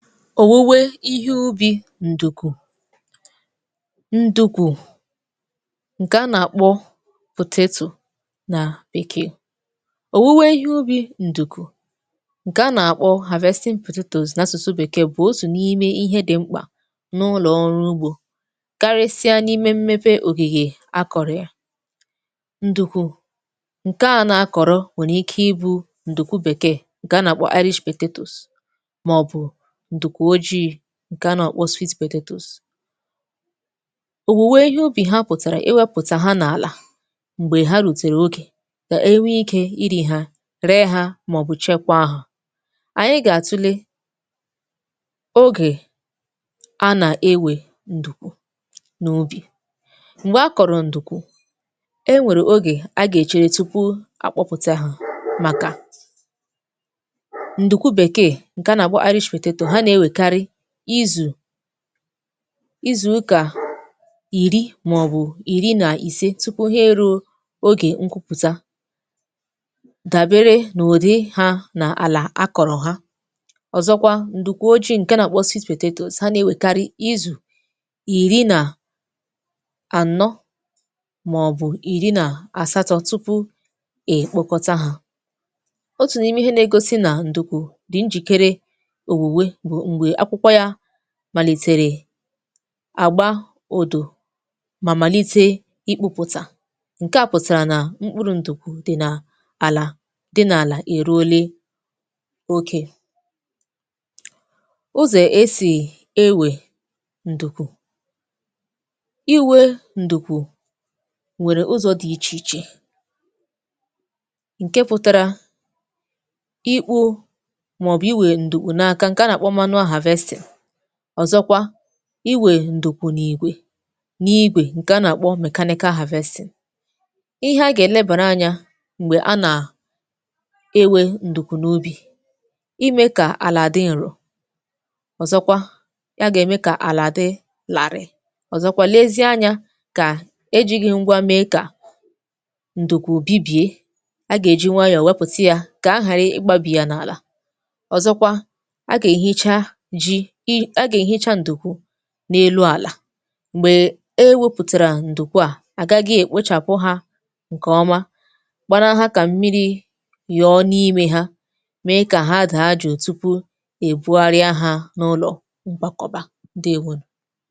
Owuwe ihe ubi̇ ǹdùkù. Ndùkù ǹkè a nà-àkpọ nà bèkee. Owuwe ihe ubi̇ ǹdùkù ǹkè a nà-àkpọ n’asụ̀sụ bèkee bụ̀ otu n’ime ihe dị̇ mkpà n’ụlọ̀ ọrụ ugbȯ, karịsịa n’ime mmepe ògìgè akọ̀rọ̀ ya. Ǹdùku ǹkè a nà-akọ̀rọ̀ nwèrè ike ibu̇ ǹdùku bèkeè, ǹkè a nà-àkpọ, maọbu ǹdùku ojii, ǹkè a nà akpọ. Owùwe ihe ubì ha pụ̀tàrà iwepụ̀tà ha n’àlà m̀gbè ha rùtèrè ogè, ka enwe ikė iri̇ ha, ree ha, màọ̀bụ̀ chekwaa ha. Ànyị gà-àtule ogè a nà-ewè ǹdùku nà ubì. Mgbè akọ̀rọ̀ ǹdùku, e nwèrè ogè a gà-èchere tupu akpọpụta ha màkà, ǹdùku bèkee ǹkè a nà akpọ, ha na-ewekari izù, izu ụkà ìri màọbụ̀ ìri nà ìse tupu ha e rùo ogè nkụpụta, dàbere nà ùdi ha nà àlà akọ̀rọ̀ ha. Ọ̀zọkwa, ǹdùku ojii ǹke nà-àkpọ, ha nà-ewèkarị izù ìri nà ànọ, màọbụ̀ ìri nà àsatọ tupu è kpokọta ha. Otù n’ime ihe na-egosi nà ǹdùkù dì njìkere òwùwe bu mgbe akwụkwọ yȧ malitere àgba ụdụ̀ ma malite ikpụ̇pụtà, nke à pụtara nà mkpụrụ̇ ǹdùkwù dị nà àlà, dị n’àlà è ruole okė. Ụzọ̀ esì ewè ǹdùkù. Iwe ǹdùkù nwere ụzọ̇ dị ichè ichè nke pụtara, ikpu̇ maọ̀bụ̀ iwè ǹdùkù n’aka, nke a na-akpọ, ọ̀zọkwa iwè ǹdùku n’ìgwè, n’ìgwè ǹke a nà-àkpọ. Ihe anyị gà-èlebàra anyȧ m̀gbè a nà-ewė ǹdùku n’ubì, imė kà àlà dị ǹro, ọ̀zọkwa ya gà-ème kà àlà dị làrị̀, ọ̀zọkwa lezie anyȧ kà ejighi̇ ngwa mee kà ǹdùku bibie, a gà-èji nwayọ̀ wepùtia kà a ghàrị ịgbabi ya n’àlà, ọzọkwa, aga ehicha ji, ị a ga ehicha ǹdùkù n’elu àlà m̀gbè ewepùtàrà ǹdùku à, àgà gị èkpochàpụ hȧ ǹkè ọma kpara ha kà mmiri yọọ n’imė ha mee kà ha da jụụ tupu ebuarịa ha n’ụlọ̀ mgbakọ̀bà, ndewonù.